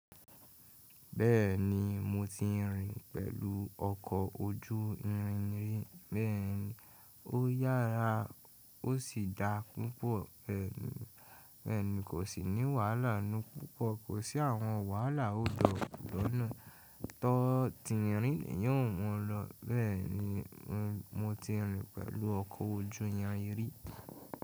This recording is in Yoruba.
Bẹ́ẹ̀ni mo ti rìn pẹ̀lú ọkọ̀ ojú irin rí, bẹ́ẹ̀ni ó yára ó sì dá púpọ̀, bẹ́ẹ̀ni kò sì ní wàhálà nú púpọ̀, kò sí àwọn wàhálà hold up lọ́nà, tó ti rìn yí ò mú lọ, bẹ́ẹ̀ni mo ti rìn pẹ̀lú ọkọ̀ ojú irin rí.